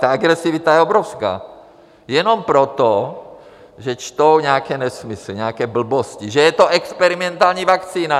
Ta agresivita je obrovská jenom proto, že čtou nějaké nesmysly, nějaké blbosti, že je to experimentální vakcína.